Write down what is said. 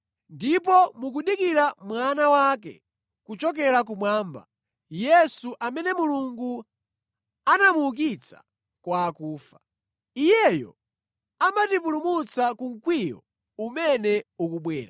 Ndipo mukudikira Mwana wake kuchokera kumwamba, Yesu, amene Mulungu anamuukitsa kwa akufa. Iyeyo amatipulumutsa ku mkwiyo umene ukubwera.